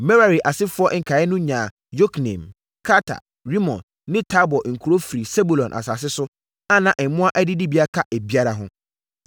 Merari asefoɔ nkaeɛ no nyaa Yokneam, Karta, Rimon ne Tabor nkuro firi Sebulon asase so, a na mmoa adidibea ka ebiara ho.